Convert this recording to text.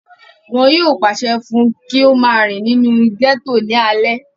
wọn yóò pàṣẹ fún un kí ó máa rìn ní inú gẹ́tò ní alẹ́